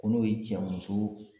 Ko n'o ye cɛ muso